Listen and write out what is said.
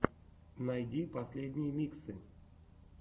найди последние миксы